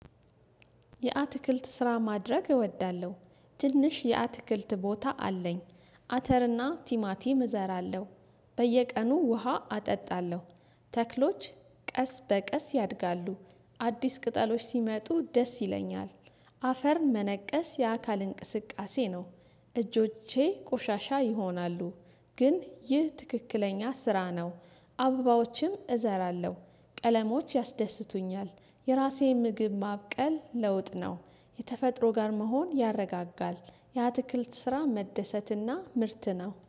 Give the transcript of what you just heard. የአትክልት ስራ ማድረግ እወዳለሁ ትንሽ የአትክልት ቦታ አለኝ። አተርና ቲማቲም እዘራለሁ። በየቀኑ ውሃ አጠጣለሁ። ተክሎች ቀስ በቀስ ያድጋሉ። አዲስ ቅጠሎች ሲመጡ ደስ ይለኛል። አፈር መነቀስ የአካል እንቅስቃሴ ነው። እጆቼ ቆሻሻ ይሆናሉ። ግን ይህ ትክክለኛ ስራ ነው። አበባዎችም እዘራለሁ ቀለሞች ያስደስቱኛል። የራሴን ምግብ ማብቀል ለውጥ ነው። የተፈጥሮ ጋር መሆን ያረጋጋል። የአትክልት ስራ መደሰትና ምርት ነው